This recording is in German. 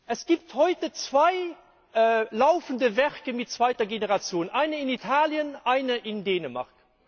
Es gibt heute zwei laufende Werke mit zweiter Generation eines in Italien, eines in Dänemark.